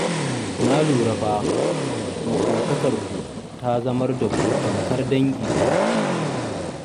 Na lura fa, maƙotakarku ta zamar da ku tamkar dangi ɗaya.